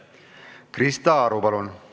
Krista Aru, palun!